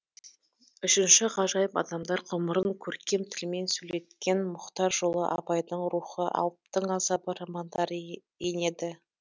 үшінші ғажайып адамдар ғұмырын көркем тілмен сөйлеткен мұхтар жолы абайдың рухы алыптың азабы романдары енеді